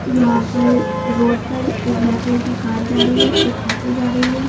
यहां पर रोड पर एक ब्लैक कलर की कार जा रही है एक ऑटो जा रही है।